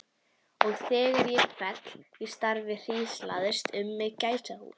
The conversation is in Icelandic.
Og þegar ég féll í stafi hríslaðist um mig gæsahúð.